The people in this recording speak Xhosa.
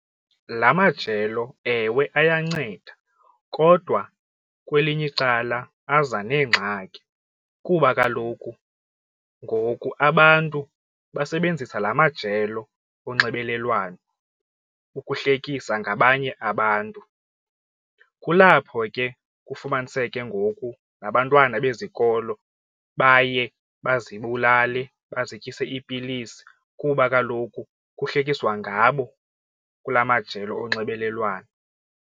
La majelo ewe ayanceda kodwa kwelinye icala aza neengxaki kuba kaloku ngoku abantu basebenzisa la majelo onxibelelwano ukuhlekisa ngabanye abantu. Kulapho ke kufumaniseke ngoku nabantwana bezikolo baye bazibulale bazityise iipilisi kuba kaloku kuhlekiswa ngabo kula majelo onxibelelwano.